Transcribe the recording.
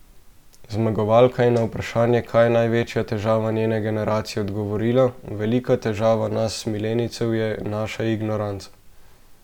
Zmagovalka je na vprašanje, kaj je največja težava njene generacije odgovorila: "Velika težava nas milenijcev je naša ignoranca.